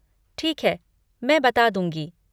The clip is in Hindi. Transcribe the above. ठीक है, मैं बता दूँगी।